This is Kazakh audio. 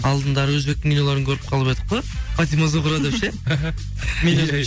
алдындары өзбектің киноларын көріп қалып едік қой фатима зухра деп ше